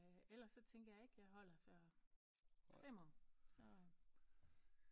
Ellers så tænker jeg ikke jeg holder før fem år så